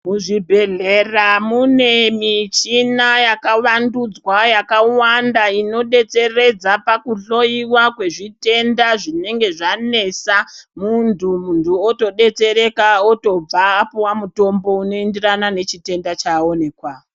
Muzvibhedhlera mune michina yakavandudzwa yakawanda inobetseredza pakuhloiwa kwezvitenda zvinenge zvanesa. Muntu muntu otobetsereka otobva apuwa mutombo neenderana nechitenda chaaonekwa.